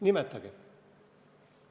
Nimetage!